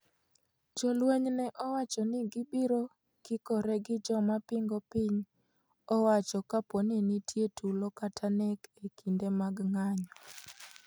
Jolweny ne owacho ni gibiro kikore gi joma pingo piny owacho kapo ni nitie tulo kata nek e kinde mag ng'anyo.